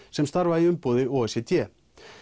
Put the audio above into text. sem starfa í umboði o e c d